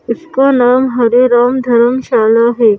इसका नाम हरे राम धर्मशाला है।